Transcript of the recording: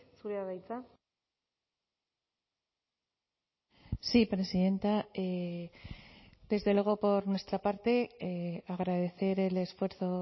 zurea da hitza sí presidenta desde luego por nuestra parte agradecer el esfuerzo